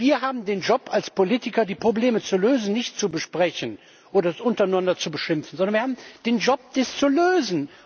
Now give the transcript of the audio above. Wir haben als Politiker, die Probleme zu lösen nicht zu besprechen oder uns untereinander zu beschimpfen, sondern wir haben den Job, dies zu lösen.